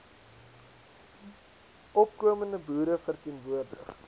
opkomende boere verteenwoordig